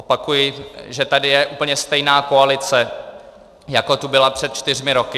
Opakuji, že tady je úplně stejná koalice, jako tu byla před čtyřmi roky.